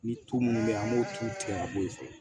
Ni tulu minnu bɛ yen an b'o tulu tigɛ ka bɔ yen